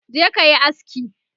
je kayi aski!